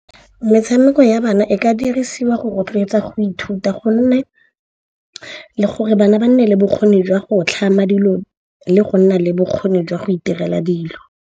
Metshameko ya bana e ka dirisiwa go rotloetsa go ithuta gonne le gore bana ba nne le bokgoni jwa go tlhama dilo le go nna le bokgoni jwa go itirela dilo.